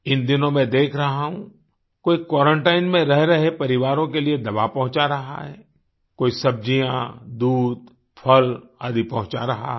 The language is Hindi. इन दिनों मैं देख रहा हूँ कोई क्वारंटाइन में रह रहे परिवारों के लिए दवा पहुँचा रहा है कोई सब्जियाँ दूध फल आदि पहुँचा रहा है